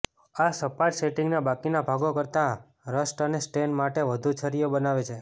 આ સપાટ સેટિંગના બાકીના ભાગો કરતાં રસ્ટ અને સ્ટેન માટે વધુ છરીઓ બનાવે છે